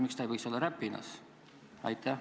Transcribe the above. Miks ta ei võiks olla Räpinas?